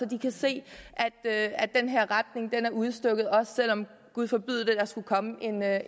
kan se at er den her retning der er udstukket også selv om gud forbyde det der skulle komme